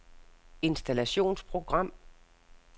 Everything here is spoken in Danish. installationsprogram